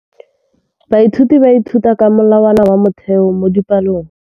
Baithuti ba ithuta ka molawana wa motheo mo dipalong.